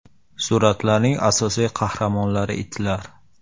Suratlarning asosiy qahramonlari itlar.